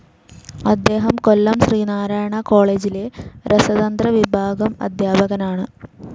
അദ്ദേഹം കൊല്ലം ശ്രീനാരായണ കോളേജിലെ രസതന്ത്ര വിഭാഗം അധ്യാപകനാണ്.